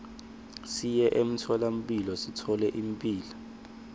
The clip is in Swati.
siye emtfolamphilo sithole imphilo